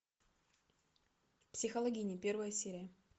психологини первая серия